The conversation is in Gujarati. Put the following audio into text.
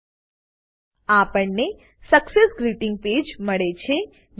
આપણને success greeting page success greeting page મળે છે